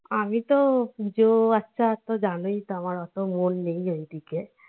আমি তো পুজো আচার তো জানোই তো আমার এত মন নেই এইদিকে